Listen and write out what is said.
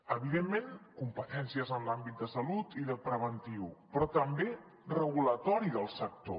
evidentment competències en l’àmbit de salut i de prevenció però també regulatòries del sector